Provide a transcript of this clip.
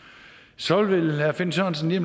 sådan vil herre finn sørensen lige